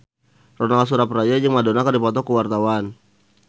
Ronal Surapradja jeung Madonna keur dipoto ku wartawan